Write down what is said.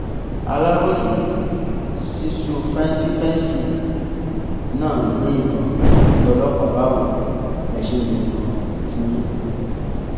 aláròye sísù fífẹǹsì náà ń gbé ìbọn bíi ọlọpàá báwo lẹ ṣe ń lo ìbọn tiyín